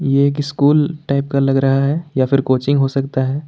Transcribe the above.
यह एक school type का लग रहा है या फिर कोचिंग हो सकता है।